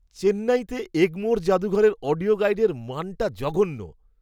চেন্নাইতে এগমোর জাদুঘরের অডিও গাইডের মানটা জঘন্য।